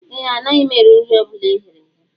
Ee, anaghị m eri nri ọ bụla e ghere eghe